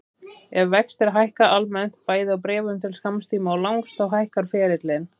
Ef vextir hækka almennt, bæði á bréfum til skamms tíma og langs, þá hækkar ferillinn.